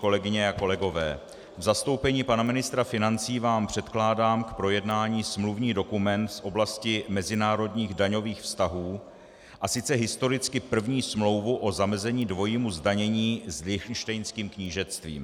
Kolegyně a kolegové, v zastoupení pana ministra financí vám předkládám k projednání smluvní dokument z oblasti mezinárodních daňových vztahů, a sice historicky první smlouvu o zamezení dvojímu zdanění s Lichtenštejnským knížectvím.